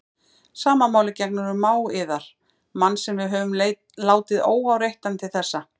Sama máli gegnir um mág yðar, mann sem við höfum látið óáreittan til þessa.